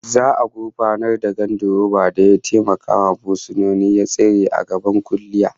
Za'a gurfanar da gandiroban da ya taimakawa fursuna ya tsere a gaban kuliya